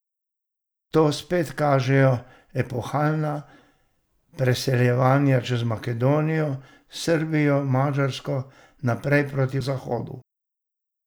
To spet kažejo epohalna preseljevanja čez Makedonijo, Srbijo, Madžarsko naprej proti zahodu.